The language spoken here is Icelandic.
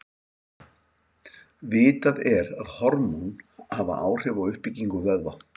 Vitað er að hormón hafa áhrif á uppbyggingu vöðva.